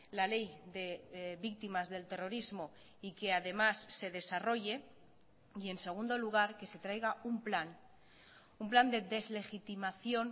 la ley de víctimas del terrorismo y que además se desarrolle y en segundo lugar que se traiga un plan un plan de deslegitimación